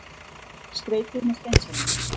Skreytið með steinselju.